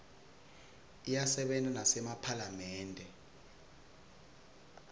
iyasebenta nasemaphalamende